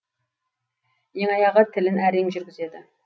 ең аяғы тілін әрең жүргізеді